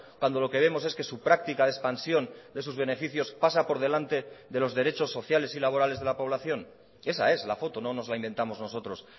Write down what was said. cuando lo que vemos es que su práctica de expansión de sus beneficios pasa por delante de los derechos sociales y laborales de la población esa es la foto no nos la inventamos nosotros